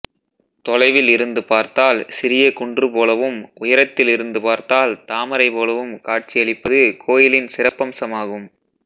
தொலைவில் இருந்து பார்த்தால் சிறிய குன்று போலவும் உயரத்தில் இருந்து பார்த்தால் தாமரை போலவும் காட்சியளிப்பது கோயிலின் சிறப்பம்சமாகும்